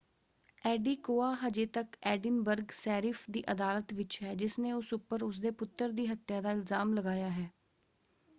Adekoya ਹਜੇ ਤੱਕ Edinburgh sheriff ਦੀ ਅਦਾਲਤ ਵਿੱਚ ਹੈ ਜਿਸਨੇ ਉਸ ਉੱਪਰ ਉਸਦੇ ਪੁੱਤਰ ਦੀ ਹੱਤਿਆ ਦਾ ਇਲਜਾਮ ਲਗਾਇਆ ਹੈ।